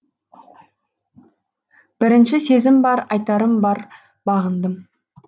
бірінші сезім бар айтарым бар бағындым